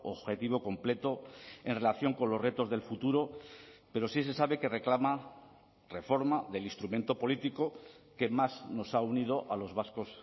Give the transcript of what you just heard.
objetivo completo en relación con los retos del futuro pero sí se sabe que reclama reforma del instrumento político que más nos ha unido a los vascos